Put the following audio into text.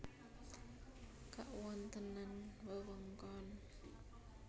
Kawontenan wewengkon